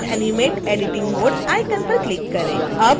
turn on animate editing mode icon पर click करें